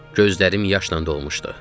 Gözlərim yaşla dolmuşdu.